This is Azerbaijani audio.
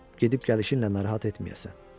Gedib gəlişinlə narahat etməyəsən.